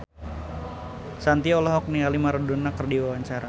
Shanti olohok ningali Maradona keur diwawancara